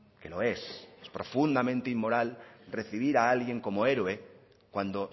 que lo es es profundamente inmoral recibir a alguien como héroe cuando